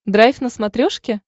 драйв на смотрешке